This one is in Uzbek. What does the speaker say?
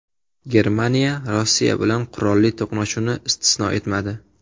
Germaniya Rossiya bilan qurolli to‘qnashuvni istisno etmadi.